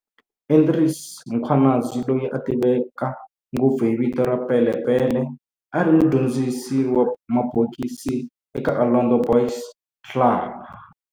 Andries Mkhwanazi, loyi a tiveka ngopfu hi vito ra"Pele Pele", a ri mudyondzisi wa mabokisi eka Orlando Boys Club